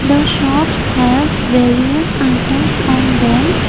the shops have various items on them.